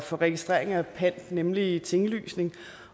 for registreringer af pant nemlig tinglysning